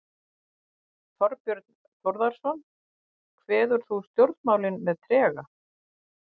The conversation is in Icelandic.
Þorbjörn Þórðarson: Kveður þú stjórnmálin með trega?